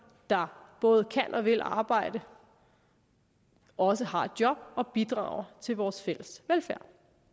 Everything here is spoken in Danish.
der både kan og vil arbejde også har et job og bidrager til vores fælles velfærd